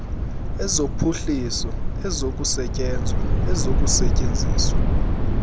ezophuhliso ezokusetyenzwa ezokusetyenziswa